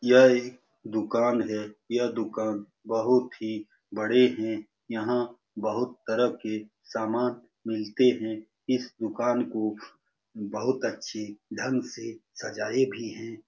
यह एक दुकान है। यह दुकान बहुत ही बड़े है। यह बहुत तरह के सामान मिलते है। इस दुकान को बहुत अच्छे ढंग से सजाये भी है।